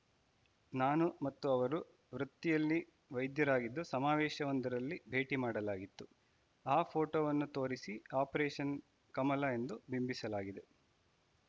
ನಾನು ಮತ್ತು ಅವರು ವೃತ್ತಿಯಲ್ಲಿ ವೈದ್ಯರಾಗಿದ್ದು ಸಮಾವೇಶವೊಂದರಲ್ಲಿ ಭೇಟಿ ಮಾಡಲಾಗಿತ್ತು ಆ ಫೋಟೋವನ್ನು ತೋರಿಸಿ ಆಪರೇಷನ್‌ ಕಮಲ ಎಂದು ಬಿಂಬಿಸಲಾಗಿದೆ